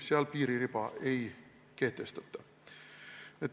Seal piiririba ei kehtestata.